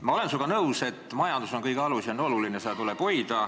Ma olen sinuga ühes asjas nõus, et majandus on kõige alus ja seda tuleb arendada.